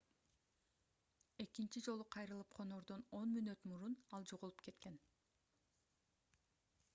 экинчи жолу кайрылып конордон 10 мүнөт мурун ал жоголуп кеткен